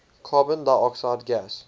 carbon dioxide gas